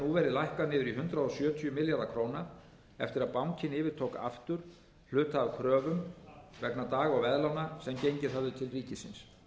lækkað niður í hundrað sjötíu milljarða króna eftir að bankinn yfirtók aftur hluta af kröfum vegna dag og veðlána sem gengið höfðu til ríkisins